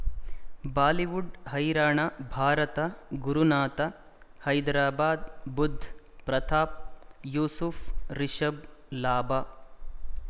Bollywood ಹೈರಾಣ ಭಾರತ ಗುರುನಾಥ ಹೈದರಾಬಾದ್ ಬುಧ್ ಪ್ರತಾಪ್ ಯೂಸುಫ್ ರಿಷಬ್ ಲಾಭ